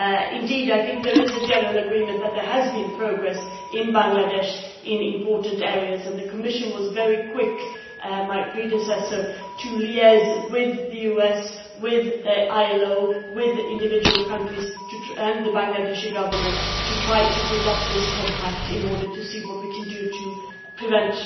Indeed I think there is general agreement that there has been progress in Bangladesh in important areas and the Commission was very quick, through my predecessor, to liaise with the US, with the ILO, with individual countries and the Bangladeshi Government to try to put together this Compact to see what we can do to prevent